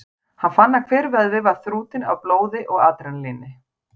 Hann fann að hver vöðvi var þrútinn af blóði og adrenalíni.